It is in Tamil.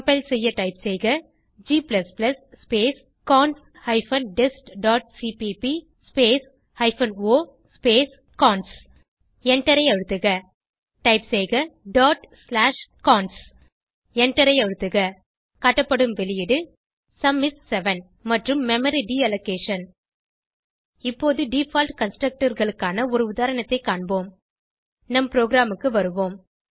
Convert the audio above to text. கம்பைல் செய்ய டைப் செய்க g space cons hyphen test dot CPP space hyphen o space cons எண்டரை அழுத்துக டைப் செய்க டாட் ஸ்லாஷ் கான்ஸ் எண்டரை அழுத்துக காட்டப்படும் வெளியீடு சும் இஸ் 7 மற்றும் மெமரி டீலோகேஷன் இப்போது டிஃபால்ட் constructorகளுக்கான ஒரு உதாரணத்தை காண்போம் நம் ப்ரோகிராமுக்கு வருவோம்